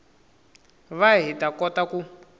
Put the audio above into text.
va hi ta kota ku